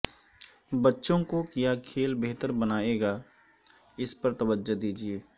بچوں کو کیا کھیل بہتر بنائے گا اس پر توجہ دیجئے